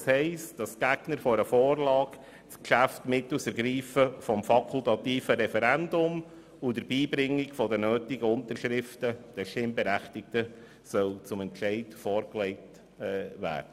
Das heisst, dass die Gegner einer Vorlage das Geschäft den Stimmberechtigten mittels Ergreifen des fakultativen Referendums und der Beibringung der nötigen Unterschriften zum Entscheid vorlegen sollen.